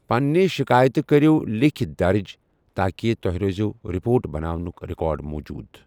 پنٕۍ شکایتہٕ کٔرِو لیٖکھِتھ درٕج تاکہِ تۄہہِ روزٮ۪و رپورٹ بناونُک ریکارڈ موٗجوٗد۔